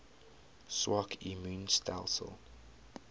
swak immuun stelsels